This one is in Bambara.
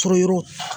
Surunyan